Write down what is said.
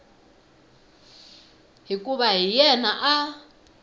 hikuva na yena a a